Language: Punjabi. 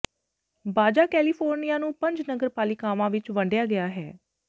ਬਾਜਾ ਕੈਲੀਫੋਰਨੀਆ ਨੂੰ ਪੰਜ ਨਗਰਪਾਲਿਕਾਵਾਂ ਵਿੱਚ ਵੰਡਿਆ ਗਿਆ ਹੈ